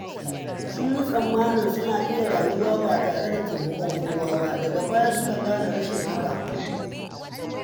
Sun yi tsammanin suna iya rayuwa ba tare da taimakon kowa ba, daga baya suka gane rashin haka.